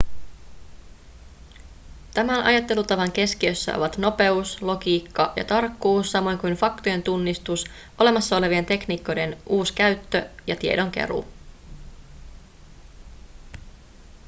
tämän ajattelutavan keskiössä ovat nopeus logiikka ja tarkkuus samoin kuin faktojen tunnistus olemassa olevien tekniikoiden uuskäyttö ja tiedonkeruu